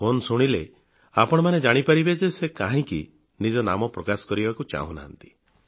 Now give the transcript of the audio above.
phone ଶୁଣିଲେ ଆପଣମାନେ ଜାଣିପାରିବେ ଯେ ସେ କାହିଁକି ନିଜ ନାମ ପ୍ରକାଶ କରିବାକୁ ଚାହୁଁନାହାନ୍ତି